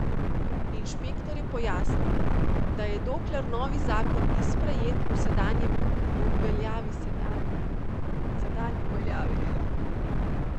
Inšpektor je pojasnil, da je dokler novi zakon ni sprejet, v veljavi sedanji, zato odločbe o rušenju ne more odložiti.